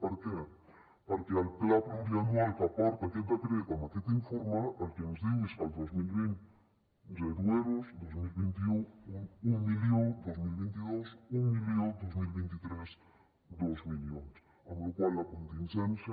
per què perquè el pla pluriennal que porta aquest decret amb aquest informe el que ens diu és que el dos mil vint zero euros dos mil vint u un milió dos mil vint dos un milió dos mil vint tres dos milions amb lo qual la contingència